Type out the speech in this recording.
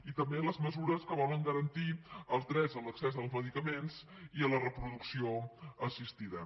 i també les mesures que volen garantir els drets a l’accés als medicaments i a la reproducció assistida